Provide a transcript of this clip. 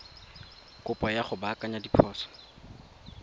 kopo ya go baakanya diphoso